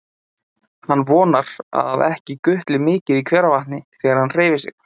Hann vonar að ekki gutli mikið í hveravatni þegar hann hreyfir sig.